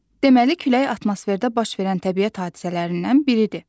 Deməli, külək atmosferdə baş verən təbiət hadisələrindən biridir.